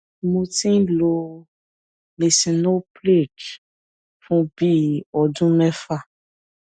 mo ti ń lo lisinoprilhctz fún bí i ọdún mẹfà